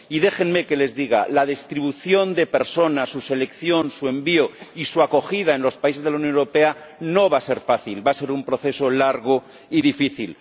y déjenme que les diga la distribución de personas, su selección, su envío y su acogida en los países de la Unión Europea no va a ser fácil, va a ser un proceso largo y difícil.